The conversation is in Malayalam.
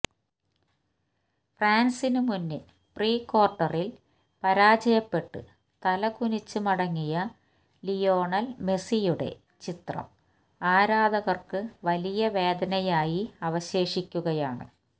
ഫ്രാന്സിന് മുന്നില് പ്രീ ക്വാര്ട്ടറില് പരാജയപ്പെട്ട് തലകുനിച്ച് മടങ്ങിയ ലിയോണല് മെസിയുടെ ചിത്രം ആരാധകര്ക്ക് വലിയ വേദനയായി അവശേഷിക്കുകയാണ്